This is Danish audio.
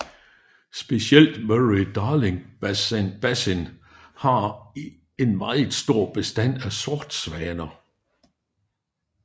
Specielt Murray Darling Basin har en meget stor bestand af sortsvaner